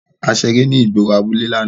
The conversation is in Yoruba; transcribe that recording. A ṣere ni igboro abule làná.